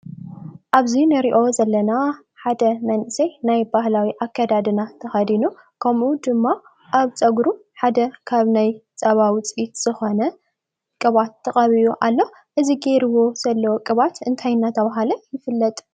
ኣብዚ እንሪኦ ዘለና ሓደ መንእሰይ ናይ ባህላዊ ኣከዳድና ተከዲኑ ከምኡ ድማ ኣብ ፀጉሩ ሓደ ካብ ናይ ፀባ ውፅኢት ዝኮነ ቅብኣት ተቀቢኡ ኣሎ፡፡ እዚ ገይርዎ ዘሎ ቅብኣት እንታይ እንዳተባሃለ ይፍለጥ?